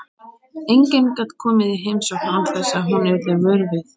Enginn gat komið í heimsókn án þess að hún yrði vör við.